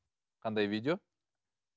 қандай видео